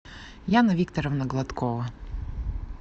яна викторовна гладкова